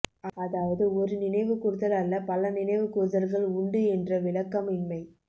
அதாவது ஒரு நினைவு கூர்தல் அல்ல பல நினைவு கூர்தல்கள் உண்டு என்ற விளக்கம் இன்மை